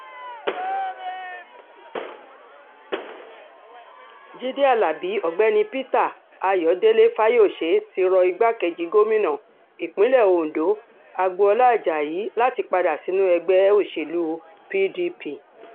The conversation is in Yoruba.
jíde alábi ọ̀gbẹ́ni peter ayọ̀dẹ̀ fáyọsé ti rọ ìgbàkejì gómìnà ìpínlẹ̀ ondo agboola ajayi láti padà sínú ẹgbẹ́ òṣèlú pdp